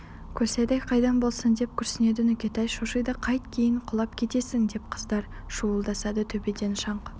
көлсайдай қайдан болсын деп күрсінеді нүкетай шошиды қайт кейін құлап кетесің деп қыздар шуылдасады төбеден шаңқ